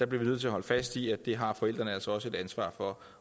bliver nødt til at holde fast i at det har forældrene altså også et ansvar for